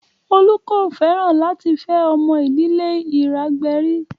Olu kò fẹ́ràn láti fẹ́ ọmọ ìdílé Iragberi